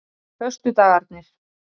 föstudagarnir